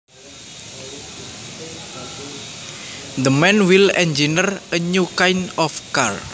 The man will engineer a new kind of car